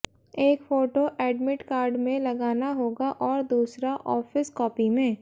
एक photo admit card में लगाना होगा और दूसरा ऑफिस कॉपी में